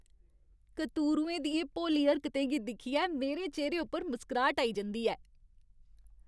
कतूरुएं दियें भोली हरकतें गी दिक्खियै मेरे चेह्‌रे उप्पर मुस्कराह्ट आई जंदी ऐ।